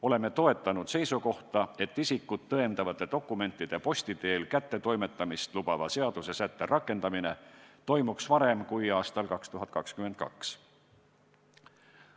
Oleme toetanud seisukohta, et isikut tõendavate dokumentide posti teel kätte toimetamist lubava seaduse sätte rakendamine toimuks varem kui aastal 2022.